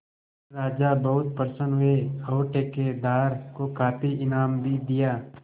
राजा बहुत प्रसन्न हुए और ठेकेदार को काफी इनाम भी दिया